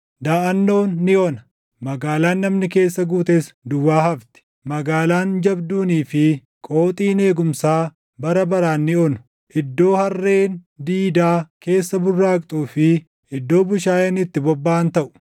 Daʼannoon ni ona; magaalaan namni keessa guutes duwwaa hafti; magaalaan jabduunii fi qooxiin eegumsaa bara baraan ni onu; iddoo harreen diidaa keessa burraaqxuu fi iddoo bushaayeen itti bobbaʼan taʼu;